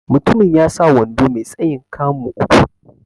Mutumin ya sa wando mai tsayin 'kamu' uku.